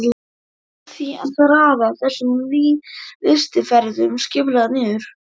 Varð því að raða þessum lystiferðum skipulega niður.